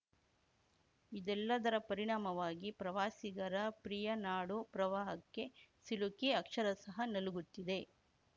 ಇದೆಲ್ಲದರ ಪರಿಣಾಮವಾಗಿ ಪ್ರವಾಸಿಗರ ಪ್ರಿಯ ನಾಡು ಪ್ರವಾಹಕ್ಕೆ ಸಿಲುಕಿ ಅಕ್ಷರಶಃ ನಲುಗುತ್ತಿದೆ